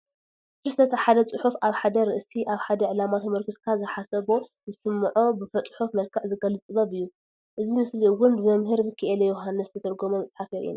ደርሰት ሓደ ፅሑፍ አብ ሐደ ርእሱ አብ ሓደ ዕላማ ተሞርኪስካ ዝሓሰቦ ዝስምዑ ብፁሑፍ መዕክዕ ዝገለፅ ጥበብ እዩ። እዚ ምስሊ እውን ብመምር ምኪኤለ የውሃነስ ዝተተርጎመ መፅሓፍ የሪኢየና።